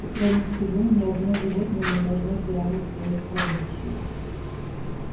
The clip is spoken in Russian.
и кроме всего ни одно животное не должно тиранить своих сородичей